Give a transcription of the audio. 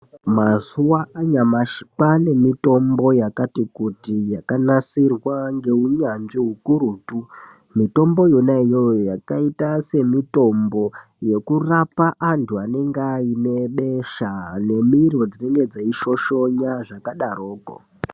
Mazuwa anyamashi kwane mitombo yakati kuti yakanasirwa ngeunyanzvi hukurutu mitombo yona iyoyo yakaita semitombo yekurapa andu anenge aine besha nemiro dzinenge dzeishoshona zvakadaroko.